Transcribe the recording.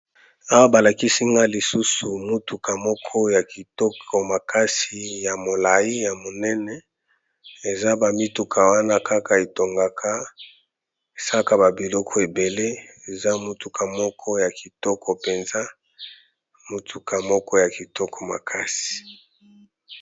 Awa balakisinga lisusu motuka moko ya kitoko makasi ya molai ya monene eza bamituka wana kaka etongaka saka babiloko ebele eza motuka moko ya kitoko mpenza motuka moko ya kitoko makasi.